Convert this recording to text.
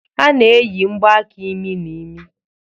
A na-eyi mgbaaka imi n'imi.